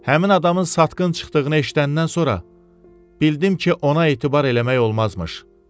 Həmin adamın satqın çıxdığını eşidəndən sonra bildim ki, ona etibar eləmək olmazmış.